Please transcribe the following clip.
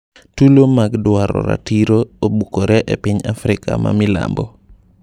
Tulo mag dwaro ratiro obukore e piny Afrika ma milambo.